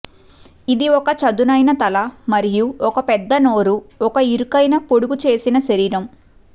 ఇది ఒక చదునైన తల మరియు ఒక పెద్ద నోరు ఒక ఇరుకైన పొడుగుచేసిన శరీరం